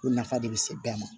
Ko nafa de bɛ se bɛɛ ma